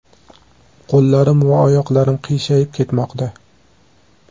Qo‘llarim va oyoqlarim qiyshayib ketmoqda.